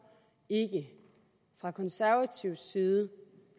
ikke fra konservativ side